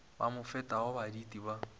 ba mo fetago baditi ba